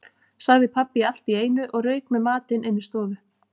sagði pabbi allt í einu og rauk með matinn inní stofu.